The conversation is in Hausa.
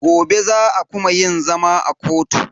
Gobe za a kuma yin zama a kotu.